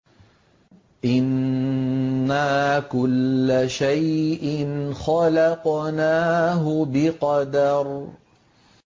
إِنَّا كُلَّ شَيْءٍ خَلَقْنَاهُ بِقَدَرٍ